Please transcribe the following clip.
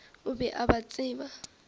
o be a ba tseba